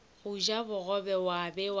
go ja bogobe wa be